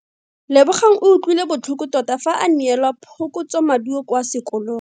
Lebogang o utlwile botlhoko tota fa a neelwa phokotsomaduo kwa sekolong.